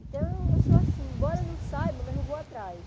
Então, eu sou assim, embora não saiba, mas eu vou atrás.